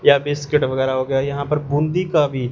यह बिस्किट वगैरह हो गया। यहां पर बूंदी का भी--